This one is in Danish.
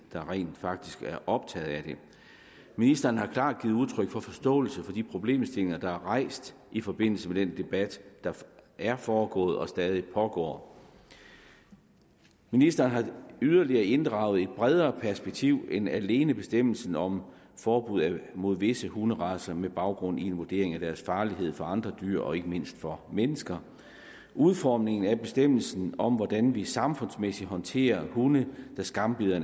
der rent faktisk er optaget af det ministeren har klart givet udtryk for forståelse for de problemstillinger der er rejst i forbindelse med den debat der er foregået og stadig pågår ministeren har yderligere inddraget et bredere perspektiv end alene bestemmelsen om forbud mod visse hunderacer med baggrund i en vurdering af deres farlighed for andre dyr og ikke mindst for mennesker udformningen af bestemmelsen om hvordan vi samfundsmæssigt håndterer hunde der skambider